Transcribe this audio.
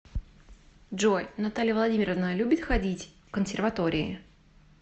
джой наталья владимировна любит ходить в консерватории